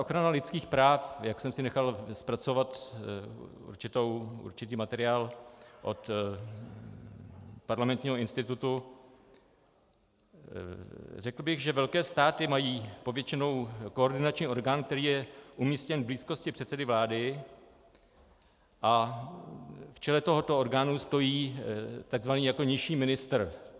Ochrana lidských práv, jak jsem si nechal zpracovat určitý materiál od Parlamentního institutu, řekl bych, že velké státy mají povětšinou koordinační orgán, který je umístěn v blízkosti předsedy vlády, a v čele tohoto orgánu stojí takzvaný jako nižší ministr.